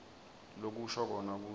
lokusho kona kutsi